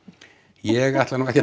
ég ætla nú ekki að